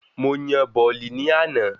Mo yan bọ̀ọ̀lì ní àná